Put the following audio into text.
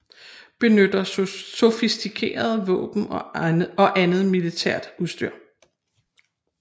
Benytter sofistikerede våben og andet militært udstyr